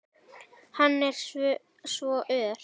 Hann er svo ör!